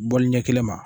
Bɔli ɲɛ kelen ma